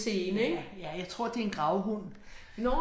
Ja, ja jeg tror det en gravhund